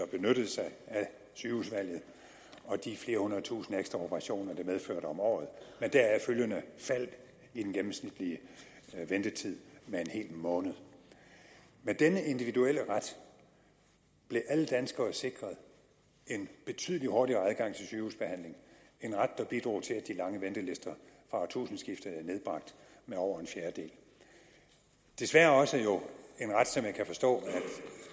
benyttede sig af sygehusvalget og de flere hundrede tusinde ekstra operationer det medførte om året med deraf følgende fald i den gennemsnitlige ventetid med en hel måned med denne individuelle ret blev alle danskere sikret en betydelig hurtigere adgang til sygehusbehandling en ret der bidrog til at de lange ventelister fra årtusindskiftet er nedbragt med over en fjerdedel desværre jo også en ret som jeg kan forstå at